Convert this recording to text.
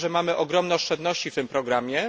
Wiemy, że mamy ogromne oszczędności w tym programie.